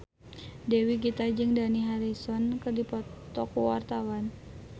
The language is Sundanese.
Dewi Gita jeung Dani Harrison keur dipoto ku wartawan